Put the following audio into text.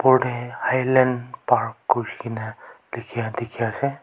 por teh Highland park korkina likia teki ase.